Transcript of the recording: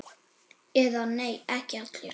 Eða nei, ekki allir!